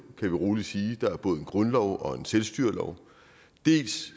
vi roligt sige der er både en grundlov og en selvstyrelov dels